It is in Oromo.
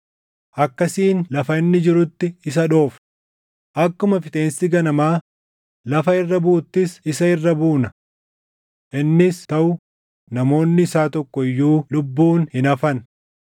Akkasiin lafa inni jirutti isa dhoofna; akkuma Fixeensi ganamaa lafa irra buʼuttis isa irra buuna. Innis taʼu namoonni isaa tokko iyyuu lubbuun hin hafan.